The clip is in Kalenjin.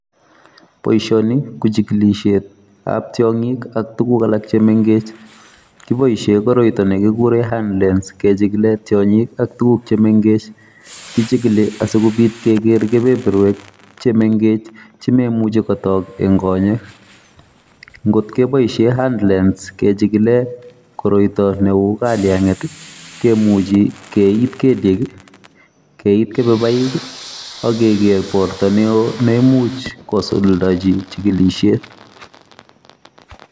Boisioni ko chikilisiet ap tiong'ik ak tuguk alak chemengech, kiboisie koroytoni kiguure handlens kechikile tiong'ik ak tuguk che mengech. kichikili asikobiit kegeer kebeberwek chemengech chememuchi kotook ing' konyek. ngotkeboisie handlens kechikile koroyto neuu kalyang'et kemuchi keiit kelyek, keiit kebebaik, akeger borto neoo neimuch kosuldaji chikilisiet